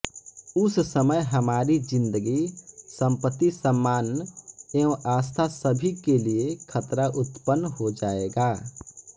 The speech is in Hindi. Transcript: उस समय हमारी ज़िंदगी संपत्ति सम्मान एवं आस्था सभी के लिए खतरा उत्पन्न हो जायेगा